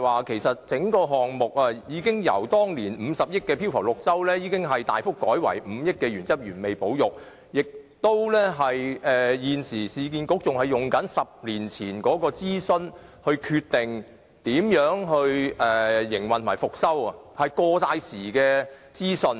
其實，整個項目已由當年50億元的飄浮綠洲設計，大幅改為5億元的原汁原味保育方案，但市建局現時仍沿用10年前的諮詢結果來決定如何營運和復修中環街市，那些全都是過時的資訊。